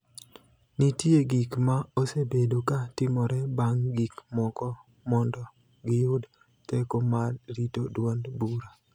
nitie gik ma osebedo ka timore bang' gik moko mondo giyud teko mar rito duond bura